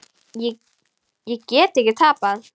Ég get ekki tapað.